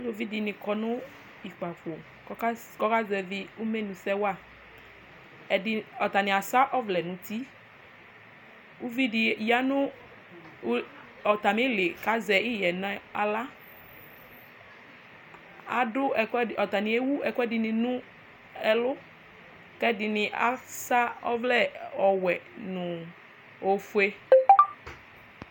aluvi dini kɔ no kpafo kò ɔka zevi imenusɛ wa ɛdi atani asɛ ɔvlɛ n'uti uvi di ya no atami ili k'azɛ iɣɛ n'ala ado ɛkoɛdi atani ewu ɛkoɛdi ni no ɛlu k'ɛdini asɛ ɔvlɛ ɔwɛ no ofue